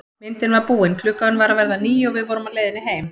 Myndin var búin, klukkan var að verða níu og við vorum á leiðinni heim.